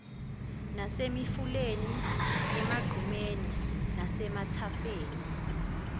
nasemifuleni emagqumeni nasemathafeni